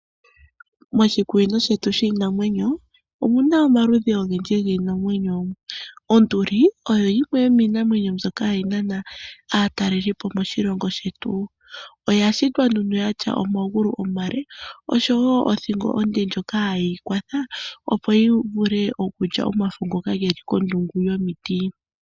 Moshikunino shetu shiinamwenyo omu na omaludhi ogendji giinamwenyo. Onduli oyo yimwe yomiinamwenyo mbyoka hayi nana aatalelipo moshilongo shetu. Oya shitwa nduno ya tya omagulu omale osho wo othingo onde ndjoka hayi yi kwatha, opo yi vule okulya omafo ngoka ge li kondungu yomiti.